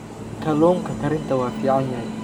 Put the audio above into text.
Kalluunka karinta waa fiican yahay.